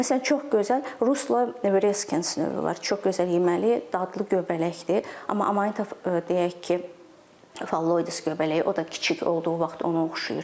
Məsələn, çox gözəl Russula virescens növü var, çox gözəl yeməli, dadlı göbələkdir, amma Amanita, deyək ki, Phalloides göbələyi, o da kiçik olduğu vaxt ona oxşayır.